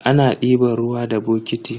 Ana diban ruwa da bokiti.